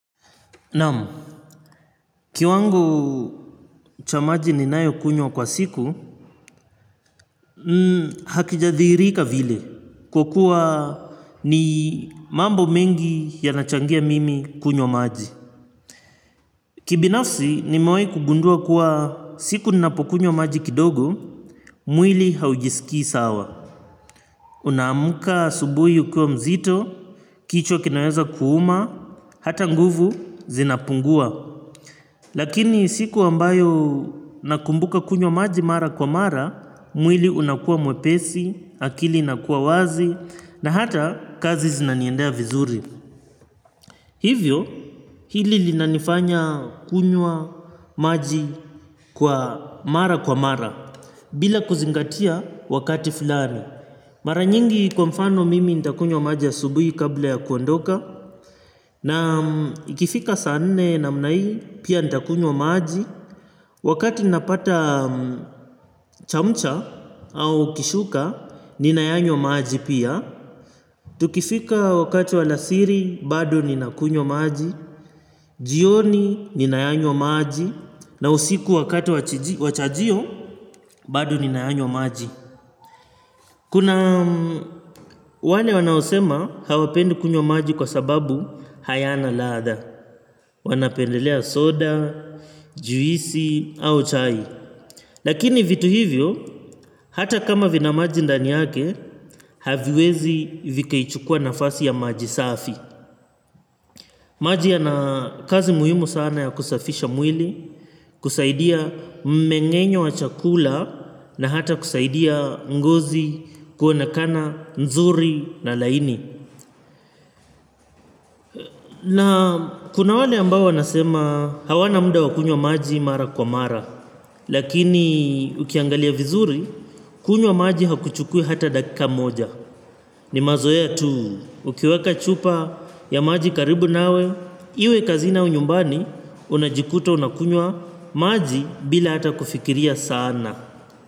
Naam, kiwango cha maji ninayokunywa kwa siku, hakijadhihirika vile kwa kuwa ni mambo mengi yanachangia mimi kunywa maji. Kibinafsi nimewahi kugundua kuwa siku ninapokunywa maji kidogo, mwili haujisikii sawa. Unaamka asubuhi ukiwa mzito, kichwa kinaweza kuuma, hata nguvu zinapungua. Lakini siku ambayo nakumbuka kunywa maji mara kwa mara, mwili unakua mwepesi, akili inakua wazi na hata kazi zinaniendea vizuri. Hivyo, hili linanifanya kunywa maji kwa mara kwa mara. Bila kuzingatia wakati fulani. Mara nyingi kwa mfano mimi nitakunywa maji asubuhi kabla ya kuondoka. Na ikifika saa nne namna hii pia nitakunywa maji. Wakati napata chamcha au kishuka, ninayanywa maji pia. Tukifika wakati wa alasiri, bado ninakunywa maji. Jioni, ninayanywa maji. Na usiku wakati wachajio, badu ninayanyo maji. Kuna wale wanaosema hawapendi kunywa maji kwa sababu hayana ladha. Wanapendelea soda, juisi, au chai. Lakini vitu hivyo, hata kama vina maji ndani yake, haviwezi vikaichukua nafasi ya maji safi. Maji yana kazi muhimu sana ya kusafisha mwili, kusaidia mmeng'enyo wa chakula, na hata kusaidia ngozi kuonekana, nzuri na laini. Na kuna wale ambao wanasema hawana muda wa kunywa maji mara kwa mara. Lakini ukiangalia vizuri kunywa maji hakuchukui hata dakika moja. Ni mazoea tu. Ukiweka chupa ya maji karibu nawe iwe kazini au nyumbani unajikuta unakunywa maji bila hata kufikiria sana.